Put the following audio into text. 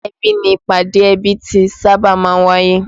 Ilé ẹbí ni ìpàdé ẹbí ti sábà máa ń wáyé